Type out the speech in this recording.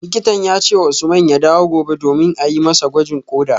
Likitan ya ce wa Usman ya dawo gobe domin a yi masa gwajin koda